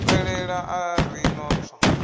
zwifhelela a ri no tswa